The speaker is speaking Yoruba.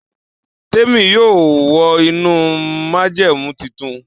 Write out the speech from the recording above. Temi yóò wọ inú májẹ̀mú títún.